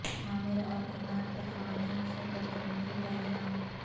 عامر اور عماد پر خواتین سے بدتمیزی کا الزام